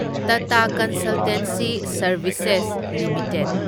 Tata consultancy services limited